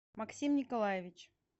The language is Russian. максим николаевич